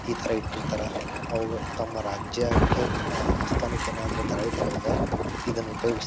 ಈ ತರ ಇಟ್ಟಿರ್ತಾರ ಅವು ತಮ್ಮ ರಾಜ್ಯಕ್ಕೆ ಅಹ್ ಆಸ್ತಾನಕ್ಕೆ ಏನಾದ್ರು ದಾಳಿ ಮಾಡೋವಾಗ ಇದನ್ ಉಪಯೋಗಿಸ --